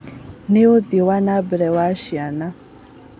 Na ũthii wa na mbere wa ciana